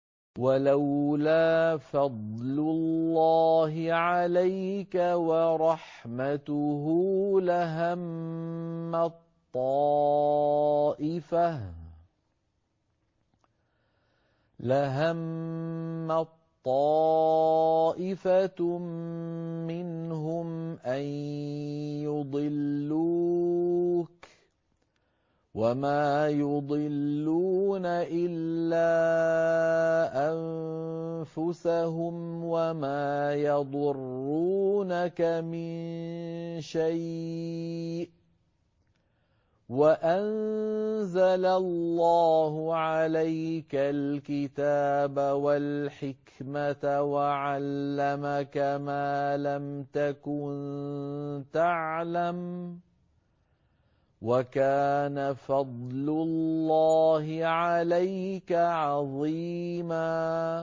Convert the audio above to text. وَلَوْلَا فَضْلُ اللَّهِ عَلَيْكَ وَرَحْمَتُهُ لَهَمَّت طَّائِفَةٌ مِّنْهُمْ أَن يُضِلُّوكَ وَمَا يُضِلُّونَ إِلَّا أَنفُسَهُمْ ۖ وَمَا يَضُرُّونَكَ مِن شَيْءٍ ۚ وَأَنزَلَ اللَّهُ عَلَيْكَ الْكِتَابَ وَالْحِكْمَةَ وَعَلَّمَكَ مَا لَمْ تَكُن تَعْلَمُ ۚ وَكَانَ فَضْلُ اللَّهِ عَلَيْكَ عَظِيمًا